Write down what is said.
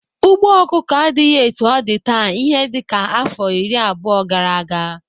Ugbo ọkụkọ adịghị etu ọ dị taa ihe dịka afọ iri abụo gara aga.